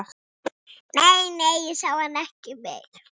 Nei, nei, ég sá hann ekki meir